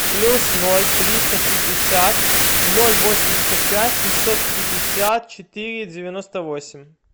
плюс ноль триста шестьдесят ноль восемьдесят пять семьсот пятьдесят четыре девяносто восемь